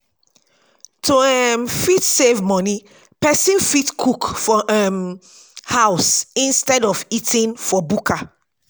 to um fit save money person save money person fit cook for um house instead of eating for bukka